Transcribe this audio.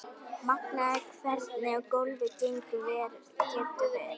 Magnað hvernig golfið getur verið.